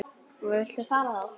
Viltu fara frá!